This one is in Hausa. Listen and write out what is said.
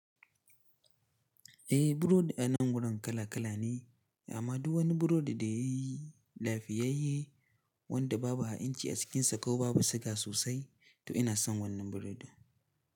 Eh burodi a nan wurin kala kala ne amma duk wani burodi da yayi lafiyayye wanda babu ha'inci a cikinsa ko babu siga sosai to ina son wannan burodi.